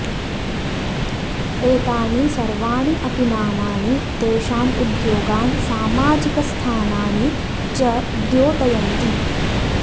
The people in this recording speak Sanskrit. एतानि सर्वाणि अपि नामानि तेषाम् उद्योगान् सामाजिकस्थानानि च द्योतयन्ति